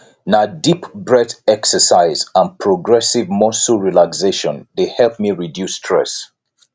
na deep breath exercise and progressive muscle relaxation dey help me reduce stress